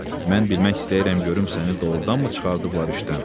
Mən bilmək istəyirəm, görüm səni doğurdanmı çıxardıblar işdən?